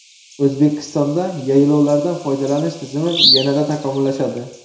O‘zbekistonda yaylovlardan foydalanish tizimi yanada takomillashadi.